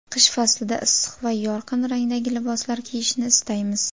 Qish faslida issiq va yorqin rangdagi liboslar kiyishni istaymiz.